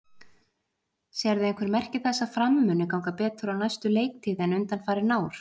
Sérðu einhver merki þess að Fram muni ganga betur á næstu leiktíð en undanfarin ár?